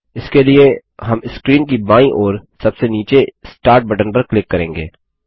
इसके लिए हम स्क्रीन की बायीं ओर सबसे नीचे स्टार्ट बटन पर क्लिक करेंगे